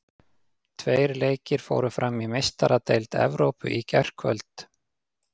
Tveir leikir fóru fram í Meistaradeild Evrópu í gærkvöld.